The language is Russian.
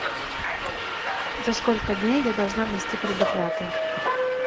за сколько дней я должна внести предоплату